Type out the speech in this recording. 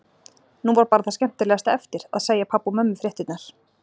Nú var bara það skemmtilegasta eftir: Að segja pabba og mömmu fréttirnar.